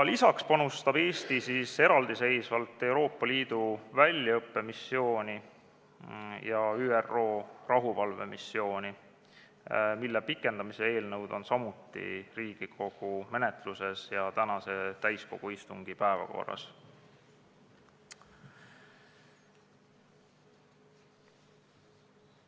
Lisaks panustab Eesti eraldiseisvalt Euroopa Liidu väljaõppemissiooni ja ÜRO rahuvalvemissiooni, mille pikendamise eelnõud on samuti Riigikogu menetluses ja tänase istungi päevakorras.